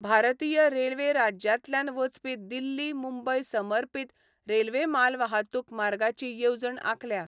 भारतीय रेल्वे राज्यांतल्यान वचपी दिल्ली मुंबय समर्पीत रेल्वे मालवाहतूक मार्गाची येवजण आंखल्या.